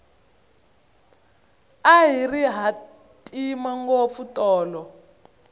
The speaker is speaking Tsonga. a ri hatima ngopfu tolo